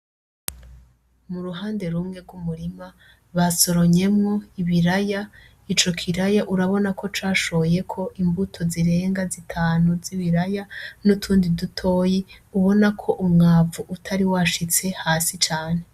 Muruhande rumwe rw'umurima basoromyemwo ibiraya , ico kiraya urabonako cashoyeko imbuto zirenga zitanu zibiraya nutundi dutoyi ubonako umwavu utari washitse hasi cane .